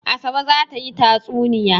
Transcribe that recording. Asabe za ta yi tatsuniya.